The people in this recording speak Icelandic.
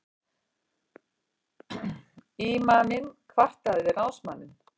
Ímaminn kvartaði við ráðsmanninn.